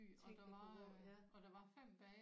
Tænk det kunne gå